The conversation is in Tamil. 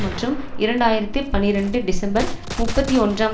மற்றும் இரண்டு ஆயிரத்தி பனிரண்டு டிசம்பர் முப்பத்தி ஒன்றாம்